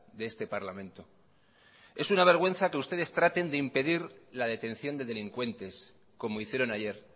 de este parlamento es una vergüenza que ustedes traten de impedir la detención de delincuentes como hicieron ayer